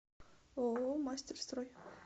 ооо мастерстрой